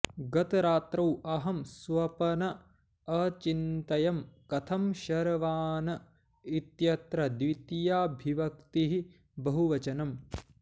गतरात्रौ अहं स्वपन् अचिन्तयं कथं शर्वान् इत्यत्र द्वितीयाविभक्तिः बहुवचनम्